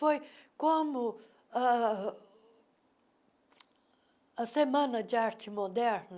Foi como ah a Semana de Arte Moderna,